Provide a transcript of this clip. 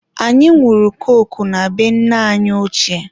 anyị nwụrụ koku na be nne anyi ochie.